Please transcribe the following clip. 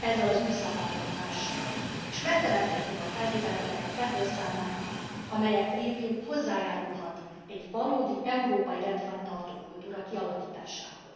ezzel az új szabályozással, és megteremthetjük a feltételeket a CEPOL számára, amelyek révén hozzájárulhat egy valódi, európai rendfenntartó kultúra kialakításához.